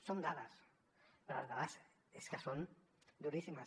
són dades però les dades és que són duríssimes